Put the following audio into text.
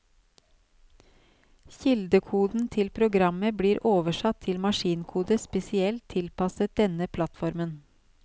Kildekoden til programmet blir oversatt til maskinkode spesielt tilpasset denne plattformen.